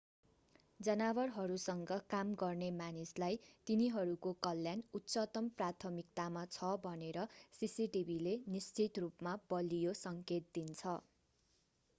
जनावरहरूसँग काम गर्ने मानिसलाई तिनीहरूको कल्याण उच्चतम प्राथमिकतामा छ भनेर सिसिटिभीले निश्चित रूपमा बलियो सङ्केत दिन्छ